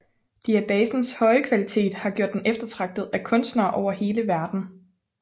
Diabasens høje kvalitet har gjort den eftertragtet af kunstnere over hele verden